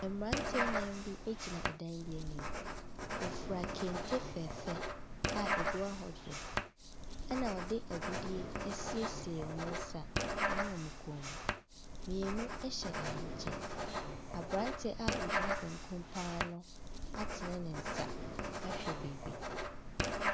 Mmernateɛ nnan bi gyina dan bi anim, wɔfura kente fɛɛfɛ a ɛgu ahodoɔ, na wɔde agudeɛ asiesie wɔn nsa ne wɔn kɔn mu, mmienu hyɛ ahenkyɛ. Aberanteɛ a ogyina bankum pa ara no atene ne nsa ahwɛ beebi.